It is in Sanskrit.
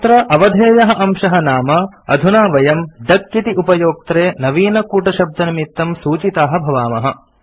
अत्र अवधेयः अंशः नाम अधुना वयम् डक इति उपयोक्त्रे नवीनकूटशब्दनिमित्तं सूचिताः भवामः